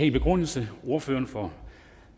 en begrundelse og ordføreren for